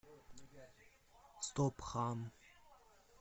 стоп хам